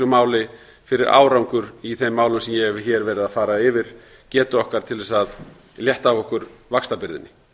máli fyrir árangur í þeim málum sem ég hef hér verið að fara yfir getu okkar til að létta af okkur vaxtabyrðinni